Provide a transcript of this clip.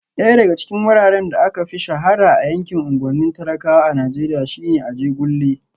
Daya daga cikin wuraren da aka fi shahara a yankin unguwannin talakawa a Najeriya shine Ajegunle